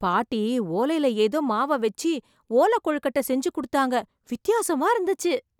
பாட்டி ! ஓலையில் ஏதோ மாவை வைச்சி, ஓலை கொழுக்கட்டை செஞ்சு கொடுத்தாங்க. வித்தியாசமா இருந்துச்சு